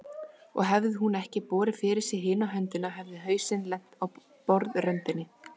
Og hefði hún ekki borið fyrir sig hina höndina hefði hausinn lent á borðröndinni.